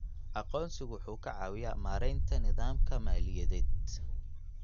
Aqoonsigu wuxuu ka caawiyaa maaraynta nidaamka maaliyadeed.